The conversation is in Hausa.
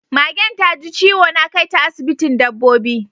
Magen taji ciwo, na kaita asibitin dabbobi